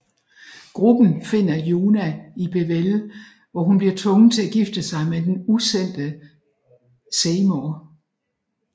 Gruppen finder Yuna i Bevelle hvor hun bliver tvunget til at gifte sig med den usendte Seymour